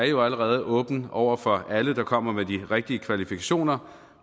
jo allerede er åben over for alle der kommer med de rigtige kvalifikationer